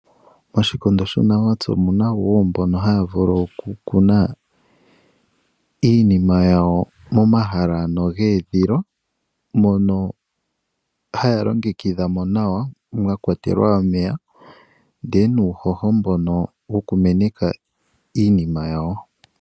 Oshikondo shuunamapya omuna mbono haya vulu okukuna iinima yawo momahala ano geedhilwa mono haya longekidhamo nawa mwa kwatelwa omeya ndele nuuhoho mbono wokumeneka iinima yawo.